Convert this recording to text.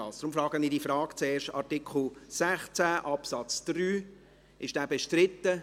Deshalb stelle ich zuerst diese Frage: Ist Artikel 16 Absatz 3 bestritten?